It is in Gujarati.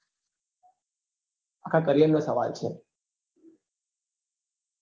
આખા career નો સવાલ છે